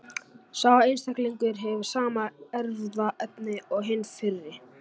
Sá einstaklingur hefur sama erfðaefni og hinn fyrri.